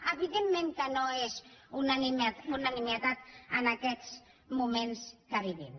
evidentment que no és una nimietat en aquests moments que vivim